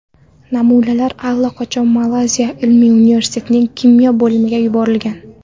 Namunalar allaqachon Malayziya ilmiy universitetining kimyo bo‘limiga yuborilgan.